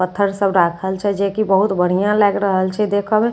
पत्थर सभ राखल छै जे की बहुत बढ़ियाँ लागि रहेल छे देखए मे आओर बगल मे--